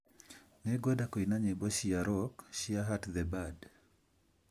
Nĩngwenda kũina nyĩmbo cia rock cia Hart the Band